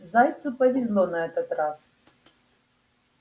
зайцу повезло на этот раз